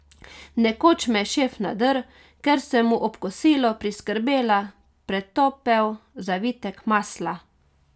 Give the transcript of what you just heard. Nekoč me je šef nadrl, ker sem mu ob kosilu priskrbela pretopel zavitek masla.